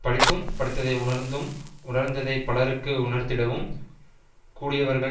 படித்தும் படித்ததை உணர்ந்தும் உணர்ந்ததைப் பலருக்கு உணர்த்திடவும் கூடியவர்கள்